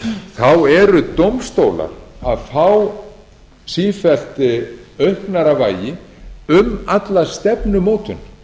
tekið eru dómstólar að fá sífellt auknara vægi um alla stefnumótun